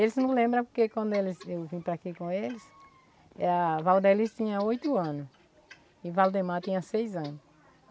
Eles não lembram porque quando eu vim vim para cá com eles, a Valdelys tinha oito anos e o Valdemar tinha seis anos.